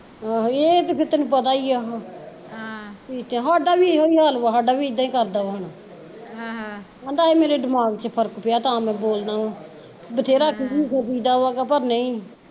ਆਹੀਂ ਏਹ ਤੇ ਫਿਰ ਤੇਨੂੰ ਪਤਾ ਈ ਆ ਹਮ ਸਾਡਾ ਵੀ ਏਹੋ ਹਾਲ ਆ ਸਾਡਾ ਵੀ ਅਵੇ ਈ ਕਰਦਾ ਈ ਆਹ ਕਹਿੰਦਾ ਏਹ ਮੇਰੇ ਦਿਮਾਗ ਚ ਫਰਕ ਪਿਆ ਤਾਂ ਮੈਂ ਬੋਲਦਾ ਵਾ, ਵਧੇਰਾ ਖਰੂ ਖਰੂ ਹੁੰਦਾ ਵਾ ਪਰ ਨਹੀਂ